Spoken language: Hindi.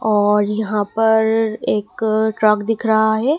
और यहां पर एक ट्रक दिख रहा है।